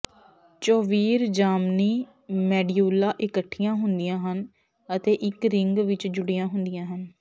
ਚੌਵੀਰ ਜਾਮਨੀ ਮੈਡਿਊਲਾਂ ਇਕੱਠੀਆਂ ਹੁੰਦੀਆਂ ਹਨ ਅਤੇ ਇੱਕ ਰਿੰਗ ਵਿੱਚ ਜੁੜੀਆਂ ਹੁੰਦੀਆਂ ਹਨ